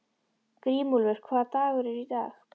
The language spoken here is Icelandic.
Grímúlfur, hvaða dagur er í dag?